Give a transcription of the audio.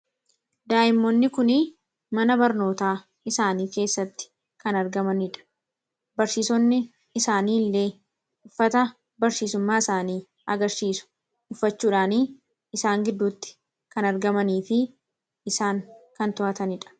daa'immonni kun mana barnootaa isaanii keessatti kan argamaniidha barsiisonni isaanii illee uffata barsiisummaa isaanii agarsiisu uffachuudhaanii isaan gidduutti kan argamanii fi isaan kan to'ataniidha